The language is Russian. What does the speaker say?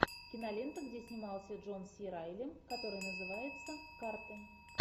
кинолента где снимался джон си райли которая называется карты